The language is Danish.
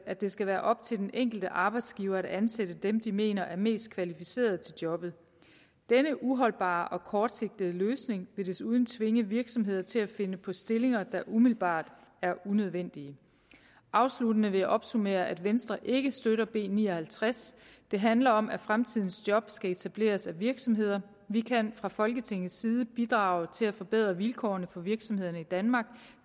at det skal være op til den enkelte arbejdsgiver at ansætte dem de mener er mest kvalificerede til jobbet denne uholdbare og kortsigtede løsning vil desuden tvinge virksomheder til at finde på stillinger der umiddelbart er unødvendige afsluttende vil jeg opsummere at venstre ikke støtter b ni og halvtreds det handler om at fremtidens job skal etableres af virksomheder vi kan fra folketingets side bidrage til at forbedre vilkårene for virksomhederne i danmark